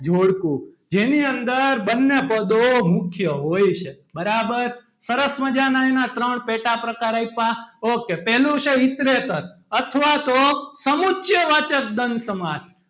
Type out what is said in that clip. જોડકું જેની અંદર બંને પદો મુખ્ય હોય છે બરાબર સરસ મજાના એના ત્રણ પેટા પ્રકાર આપ્યા ok પહેલો છે ઇતરેતર અથવા તો સમુચ્ય વાચક દ્વંદ સમાસ,